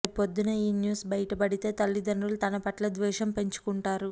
రేపొద్దున్న ఈ న్యూస్ బయటపడితే తల్లిదండ్రులు తన పట్ల ద్వేషం పెంచుకుంటారు